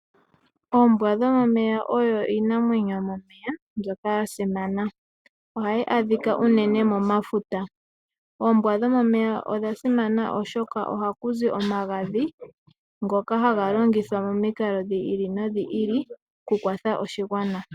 Oombwa dhomeya odho Iinamwenyo yomomeya mbyoka yasimana, ohayi adhika unene momafuta, oombwa dhomeya odha simana oshoka oha kuzi omagadhi ngoka hanga longithwa momiikalo dhi ili nodhi ili oku kwatha oshingwana.